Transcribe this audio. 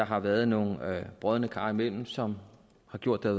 har været nogle brodne kar indimellem som har gjort at